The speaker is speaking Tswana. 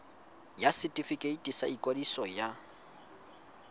ya setefikeiti sa ikwadiso ya